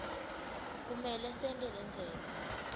kumele sente lendzebe